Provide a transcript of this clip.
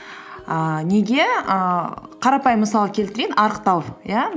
ііі неге ііі қарапайым мысал келтірейін арықтау иә